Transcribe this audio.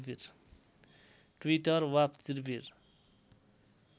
Twitter वा चिर्विर